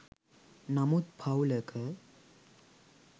නමුත් පවුලක